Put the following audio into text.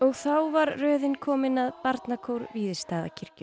þá var röðin komin að barnakór Víðistaðakirkju